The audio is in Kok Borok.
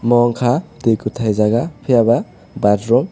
mo ungkha tui kuthai jaga phiya ba bathroom.